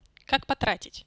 как потратить